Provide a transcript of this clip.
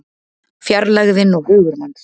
Fjarlægðin og hugur manns